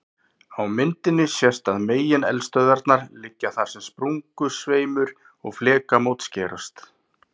Á myndinni sést að megineldstöðvarnar liggja þar sem sprungusveimur og flekamót skerast.